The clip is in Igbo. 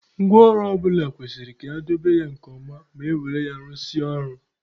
Ngwa ọrụ ọ bụla kwesịrị ka edobe ya nke ọma ma e were ya rụsịa ọrụ.